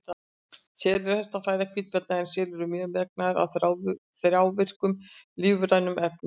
Selir eru helsta fæða hvítabjarna en selir eru mjög mengaðir af þrávirkum lífrænum efnum.